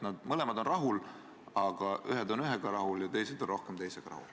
Nad mõlemad on rahul, aga ühed on ühega rahul ja teised on rohkem teisega rahul.